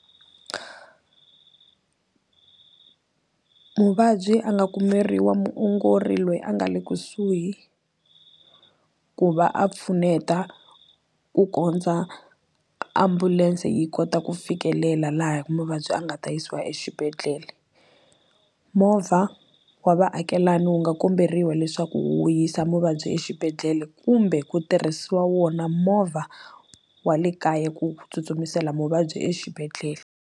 Muvabyi a nga kumeriwa muongori loyi a nga le kusuhi ku va a pfuneta ku kondza ambulense yi kota ku fikelela laha muvabyi a nga ta yisiwa exibedhlele movha wa vaakelani wu nga komberiwa leswaku wu yisa muvabyi exibedhlele kumbe ku tirhisiwa wona movha wa le kaya ku tsutsumisela muvabyi exibedhlele.